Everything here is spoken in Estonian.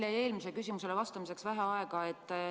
Teil jäi eelmisele küsimusele vastamiseks vähe aega.